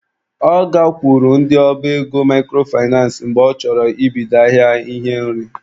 Ọ gakwuru ndị ọba ego microfinace mgbe ọ chọrọ ibido ahịa ihe nri.